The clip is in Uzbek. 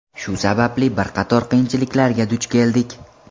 Shu sababli bir qator qiyinchiliklarga duch keldik.